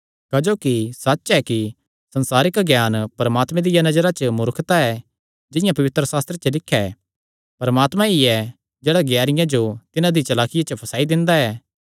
क्जोकि सच्च एह़ ऐ कि संसारिक ज्ञान परमात्मे दिया नजरा च मूर्खता ऐ जिंआं पवित्रशास्त्रे लिख्या ऐ परमात्मा ई ऐ जेह्ड़ा ज्ञानियां जो तिन्हां दी चलाकिया च फसाई दिंदा ऐ